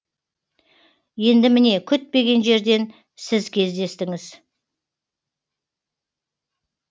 енді міне күтпеген жерден сіз кездестіңіз